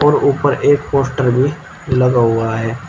और ऊपर एक पोस्टर भी लगा हुआ है।